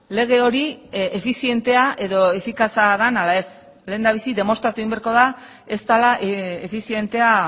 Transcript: lege hori efizientea edo efikaza den ala ez lehendabizi demostratu egin beharko da ez dela efizientea